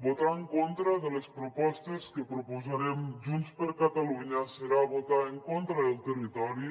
votar en contra de les propostes que proposarem junts per catalunya serà votar en contra del territori